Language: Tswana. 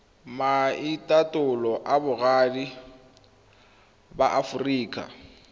maitatolo a boagi ba aforika